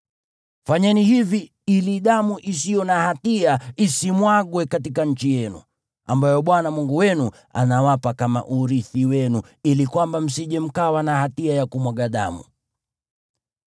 Fanyeni hivi ili damu isiyo na hatia isimwagwe katika nchi yenu, ambayo Bwana Mungu wenu anawapa kama urithi wenu, ili kwamba msije mkawa na hatia ya kumwaga damu.